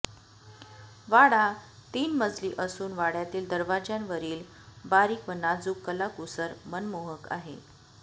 वाडा तीन मजली असून वाड्यातील दरवाज्यांवरील बारीक व नाजूक कलाकुसर मनमोहक आहे